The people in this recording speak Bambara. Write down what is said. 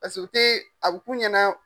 Paseke u te a b'i k'u ɲɛna.